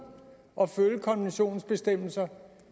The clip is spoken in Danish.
at følge konventionens bestemmelser